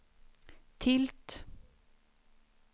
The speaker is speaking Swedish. tilt